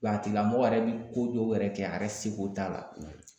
Wa a tigilamɔgɔ yɛrɛ bi ko dɔw yɛrɛ kɛ a yɛrɛ seko t'a la